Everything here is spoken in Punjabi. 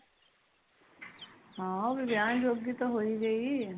ਹਮ ਉਹ ਵੀ ਵਿਆਹਨ ਜੋਗੀ ਤਾ ਹੋ ਹੀ ਗਈ